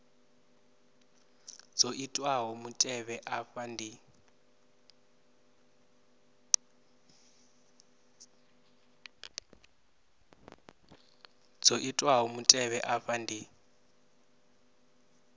dzo itiwaho mutevhe afha ndi